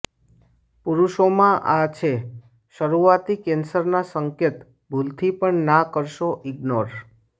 પુરુષોમાં આ છે શરૂઆતી કેન્સરના સંકેત ભૂલથી પણ ના કરશો ઇગ્નોર